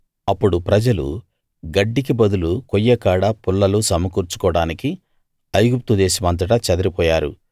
అప్పుడు ప్రజలు గడ్డికి బదులు కొయ్యకాడ పుల్లలు సమకూర్చుకోవడానికి ఐగుప్తు దేశమంతటా చెదిరిపోయారు